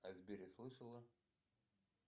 о сбере слышала